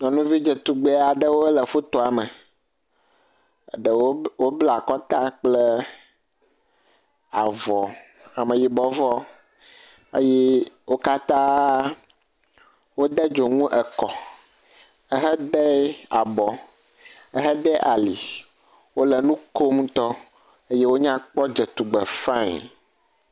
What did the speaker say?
Nyɔnuvi dzetugbe aɖewo le fotoa me. Eɖewo bla wobla akɔta kple avɔ, Ameyibɔvɔ eye wo katã wode dzonu ekɔ, ehede abɔ, ehede ali. Wole nu kom ŋutɔ. Eye wonya kpɔ dze tugbe faiŋ.